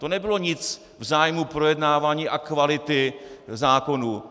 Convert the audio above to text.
To nebylo nic v zájmu projednávání a kvality zákonů.